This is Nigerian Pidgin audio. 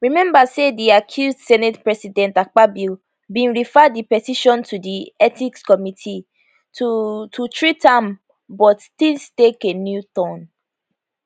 rememba say di accused senate president akpabio bin refer di petition to di ethics committee to to treat am but tins take a new turn